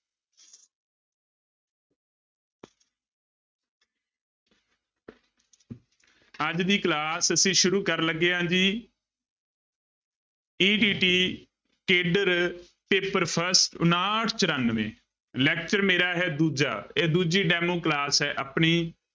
ਅੱਜ ਦੀ class ਅਸੀਂ ਸ਼ੁਰੂ ਕਰਨ ਲੱਗੇ ਹਾਂ ਜੀ ETT ਕੇਡਰ ਪੇਪਰ first ਉਣਾਹਠ ਚੁਰਾਨਵੇਂ lecture ਮੇਰਾ ਹੈ ਦੂਜਾ ਇਹ ਦੂਜੀ demo class ਹੈ ਆਪਣੀ।